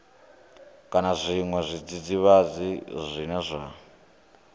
kana zwiṅwe zwidzidzivhadzi zwine zwa